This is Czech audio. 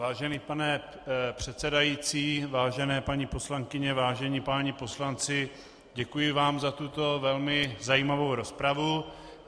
Vážený pane předsedající, vážené paní poslankyně, vážení páni poslanci, děkuji vám za tuto velmi zajímavou rozpravu.